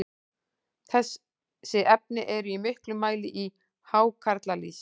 þessi efni eru í miklum mæli í hákarlalýsi